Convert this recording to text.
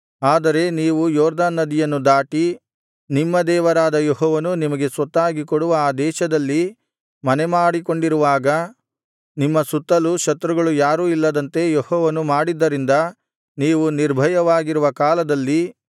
ಆದರೆ ನೀವು ಯೊರ್ದನ್ ನದಿಯನ್ನು ದಾಟಿ ನಿಮ್ಮ ದೇವರಾದ ಯೆಹೋವನು ನಿಮಗೆ ಸ್ವತ್ತಾಗಿ ಕೊಡುವ ಆ ದೇಶದಲ್ಲಿ ಮನೆಮಾಡಿಕೊಂಡಿರುವಾಗ ನಿಮ್ಮ ಸುತ್ತಲೂ ಶತ್ರುಗಳು ಯಾರೂ ಇಲ್ಲದಂತೆ ಯೆಹೋವನು ಮಾಡಿದ್ದರಿಂದ ನೀವು ನಿರ್ಭಯವಾಗಿರುವ ಕಾಲದಲ್ಲಿ